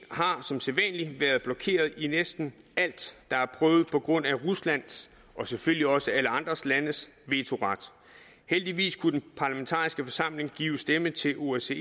har som sædvanlig været blokeret i næsten alt der er prøvet på grund af ruslands og selvfølgelig også alle andre landes vetoret heldigvis kunne den parlamentariske forsamling give stemme til osce